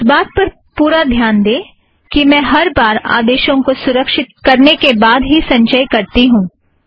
इस बात पर पुरा ध्यान दें कि मैं हर बार आदेशों को सुरक्षीत करने के बाद ही संचय करती हूँ